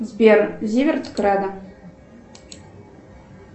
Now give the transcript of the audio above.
сбер зиверт кредо